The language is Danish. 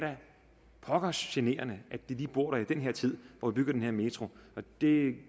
pokkers generende at de lige bor der i den her tid hvor vi bygger den her metro det